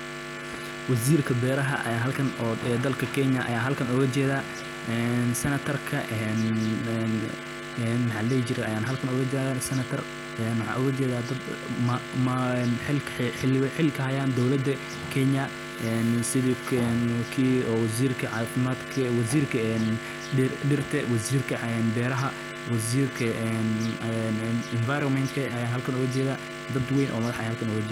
Qaybinta galleyda ee bulshada waa hawl muhiim ah oo si toos ah uga faa’iideysa bulshada deegaanka, gaar ahaan beeraleyda iyo qoysaska danyar. Galleydu waa mid ka mid ah dalagyada ugu muhiimsan ee cuntooyinka aasaasiga ah ee dadka Soomaaliyeed isticmaalaan, waxaana loo baahan yahay in si siman oo cadaalad ah.